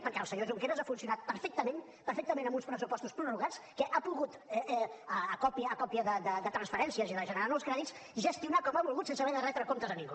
perquè el senyor junqueras ha funcionat perfectament perfectament amb uns pressupostos prorrogats que ha pogut a còpia de transferències i de generar nous crèdits gestionar com ha volgut sense haver de retre comptes a ningú